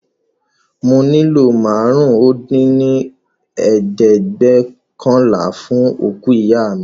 Mo fẹ́ màálù àrún-dín-ní-ojì dín ní ẹ̀ẹ́dẹ́gbẹ́ọ̀kànlá fún òkú ìyá mi